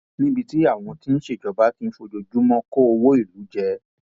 níbi tí àwọn tí wọn ń ṣèjọba ti ń fojoojúmọ kó owó ìlú jẹ